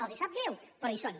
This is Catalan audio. els sap greu però hi són